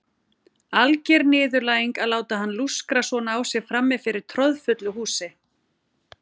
Alger niðurlæging að láta hann lúskra svona á sér frammi fyrir troðfullu húsi.